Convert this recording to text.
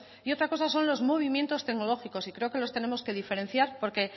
y otra cosa son los movimientos tecnológicos y creo que los tenemos que diferenciar porque